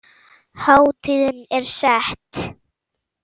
Hátíðin er sett.